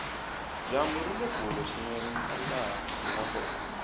dyambu rile kule swinene na laha hinga kona